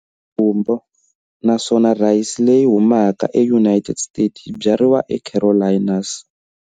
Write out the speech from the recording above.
Gumbo, naswona rhayisi leyi humaka eUnited States yi byariwa eCarolinas.